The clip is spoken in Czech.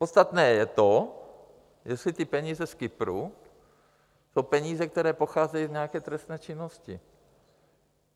Podstatné je to, jestli ty peníze z Kypru jsou peníze, které pocházejí z nějaké trestné činnosti.